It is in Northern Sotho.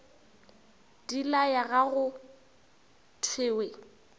di laya ga go thewe